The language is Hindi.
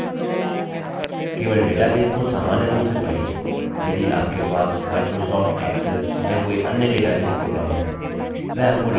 केवल डेटाबेसेस को सामान्य रूप से पढ़िए यदि आपके पास microsoft access या कोई अन्य डेटाबेस प्रोग्राम है